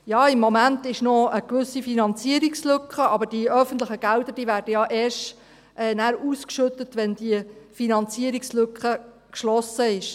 Ja, im Moment gibt es noch eine gewisse Finanzierungslücke, aber die öffentlichen Gelder werden ja erst nachher ausgeschüttet, wenn die Finanzierungslücke geschlossen ist.